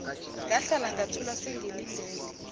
ngahlala ngathula sengilindele